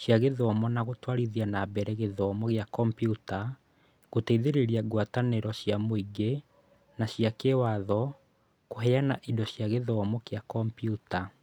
cia gĩthomo na gũtwarithia na mbere gĩthomo kĩa kombiuta; gũteithĩrĩria ngwatanĩro cia mũingĩ na cia kĩĩwatho kũheana indo cia gĩthomo kĩa kombiuta.